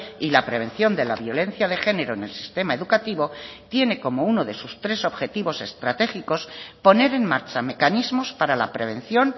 y la prevención de la violencia de género en el sistema educativo tiene como uno de sus tres objetivos estratégicos poner en marcha mecanismos para la prevención